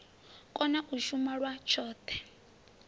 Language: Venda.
kona u shuma lwa tshoṱhe